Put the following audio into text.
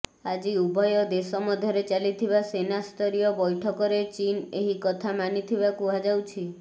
ଆଜି ଉଭୟ ଦେଶ ମଧ୍ୟରେ ଚାଲିଥିବା ସେନା ସ୍ତରୀୟ ବୈଠକରେ ଚୀନ୍ ଏହି କଥା ମାନିଥିବା କୁହାଯାଉଛି